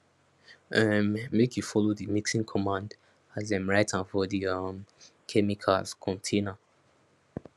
um make you follow the mixing cmmand as dem write am for the um chemicals container